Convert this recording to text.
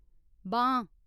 बांह्